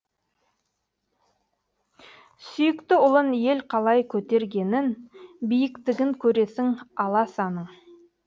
сүйікті ұлын ел қалай көтергенін биіктігін көресің аласаның